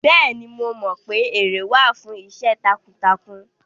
Bẹ́ẹ̀ni, mo mọ pé ère wà fún iṣẹ́ takuntakun